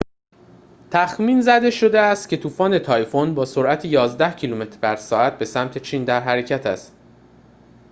تخمین زده شده است که طوفان تایفون با سرعت یازده کیلومتر بر ساعت به سمت چین در حرکت است